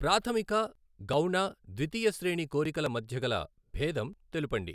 ప్రాథమిక గౌణ ద్వితీయ శ్రేణి కోరికల మధ్యగల భేదం తెలుపండి.